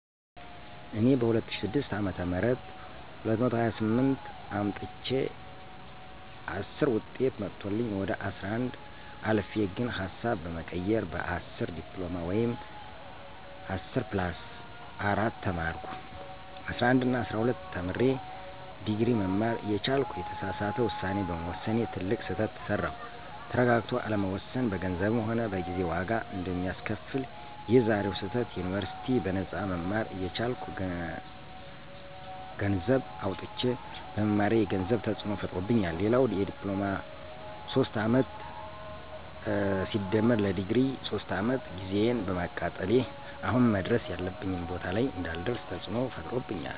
እኔ በ2006 አ /ም 228 አምጥቸየ 10ዉጤት መቶልኝ ወደ 11 አልፌ ግን ሀሳብ በመቀየር በ10 ዲፕሎማ ወይም10+4 ተማርኩ። 11እና 12ተምሬ ድግሪ መማር እየቻልኩ የተሳሳተ ዉሳኔ በመወሰኔ ትልቅ ስህተት ሰራዉ። ተረጋግቶ አለመወሰን በገንዘብም ሆነ በጊዜ ዋጋ አንደሚያስከፍል፦ የዛኔዉ ስህተት ዩኒበርሲቲ በነጳ መማር እየቻልኩ ገነሰዘብ አዉጥቸ በመማሬ የገንዘብ ተፅዕኖ ፈጥሮብኛል፣ ሌላዉ ለዲፕሎማ 3 አመት+ለድግሪ 3 አመት ጊዜየን በማቃጠሌ አሁን መድረስ ያለብኝ ቦታ ላይ እንዳልደርሰ ተፅዕኖ ፈጥሮብኛል